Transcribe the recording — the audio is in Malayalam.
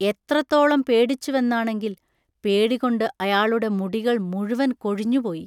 എത്രത്തോളും പേടിച്ചുവെന്നാണെങ്കിൽ.........പേടികൊണ്ട് അയാളുടെ മുടികൾ മുഴുവൻ കൊഴിഞ്ഞുപോയി.